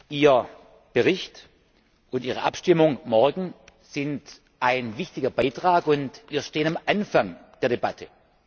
Ihr Bericht und Ihre Abstimmung morgen sind ein wichtiger Beitrag und wir stehen am Anfang der Debatte.